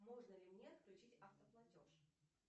можно ли мне отключить автоплатеж